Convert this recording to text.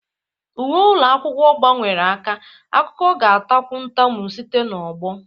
Uwe ụlọ akwụkwọ gbanwere aka, akụkọ ga-atakwu ntamu site n'ọgbọ.